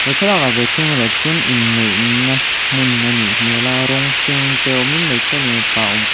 he thlalakah ve thung erawh chuan in neih na hmun a nih hmel a rawng hring te awmin hmeichhia leh mipa awm kh--